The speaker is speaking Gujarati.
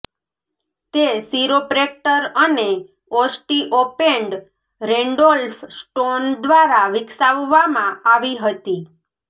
તે શિરોપ્રેક્ટર અને ઓસ્ટીઓપૅન્ડ રેન્ડોલ્ફ સ્ટોન દ્વારા વિકસાવવામાં આવી હતી